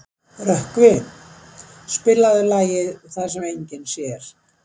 Rökkvi, spilaðu lagið „Það sem enginn sér“.